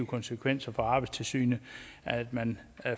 konsekvenser for arbejdstilsynet at man